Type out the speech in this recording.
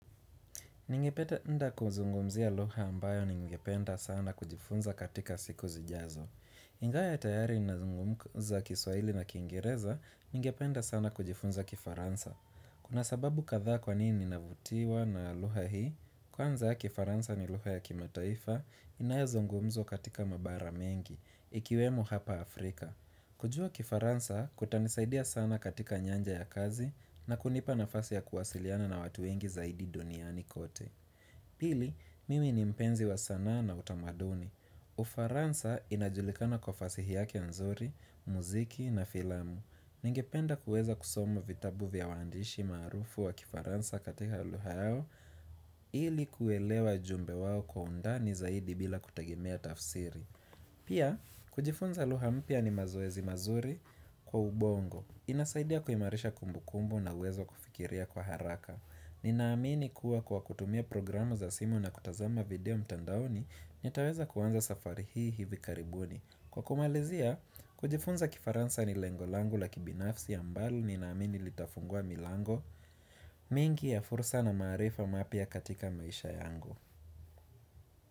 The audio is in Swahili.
Ningependa kuzungumzia lugha ambayo ningependa sana kujifunza katika siku zijazo. Ingaya tayari ninazungumza kiswaili na kiingereza, ningependa sana kujifunza kifaransa. Kuna sababu kadhaa kwa nini ninavutiwa na lugha hii, kwanza kifaransa ni lugha ya kimataifa, inayozungumzwa katika mabara mengi, ikiwemo hapa Afrika. Kujua kifaransa kutanisaidia sana katika nyanja ya kazi na kunipa nafasi ya kuwasiliana na watu wengi zaidi duniani kote. Pili, mimi ni mpenzi wa sanaa na utamaduni. Ufaransa inajulikana kwa fasihi yake nzuri, muziki na filamu. Ningependa kuweza kusoma vitabu vya waandishi maarufu wa kifaransa katika lugha yao ili kuelewa ujumbe wao kwa undani zaidi bila kutegemea tafsiri. Pia, kujifunza lugha mpya ni mazoezi mazuri kwa ubongo. Inasaidia kuimarisha kumbukumbu na uwezo wa kufikiria kwa haraka. Ninaamini kuwa kwa kutumia programu za simu na kutazama video mtandaoni, nitaweza kuanza safari hii hivi karibuni. Kwa kumalizia, kujifunza kifaransa ni lengo langu la kibinafsi ambalo ninaamini litafungua milango mingi ya fursa na maarifa mapya katika maisha yangu.